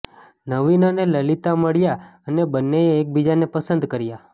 નવીન અને લલિતા મળ્યા અને બંનેએ એકબીજાને પસંદ કર્યા